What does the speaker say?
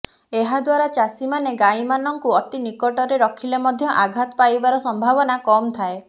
ଏହାଦ୍ୱାରା ଚାଷୀମାନେ ଗାଈମାନଙ୍କୁ ଅତି ନିକଟରେ ରଖିଲେ ମଧ୍ୟ ଆଘାତ ପାଇବାର ସମ୍ଭାବନ କମ୍ ଥାଏ